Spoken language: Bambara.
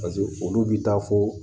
Paseke olu bɛ taa fɔ